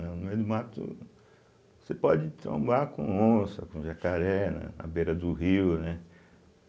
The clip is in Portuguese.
No meio do mato, você pode trombar com onça, com jacaré, né na beira do rio, né?